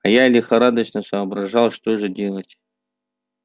а я лихорадочно соображал что же делать